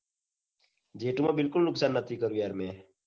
જેટલું માં મેં બિલકુલ નુકસાન નથી કર્યું. યાર મેં